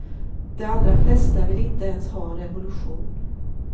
De allra flesta vill inte ens ha en revolution.